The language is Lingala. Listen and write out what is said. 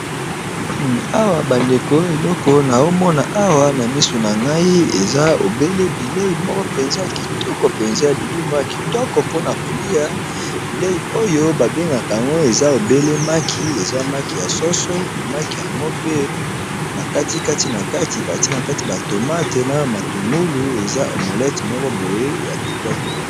Awa Bandeko eloko oyo nazomona awa na misu na ngai ! eza obele bileyi moko mpenza! ya kitoko mpenza, ya bilei moko ya kitoko mpona kolia, bilei oyo babengaka yango eza obele maki , eza maki ya soso, me maki yango pe bakati kati na kati, batie nakati ba tomate na matungulu eza omolete moko, boye ya kitoko.